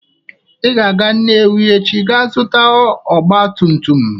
Ị ga-aga Nnewi echi ga azụta ọgba tum tum!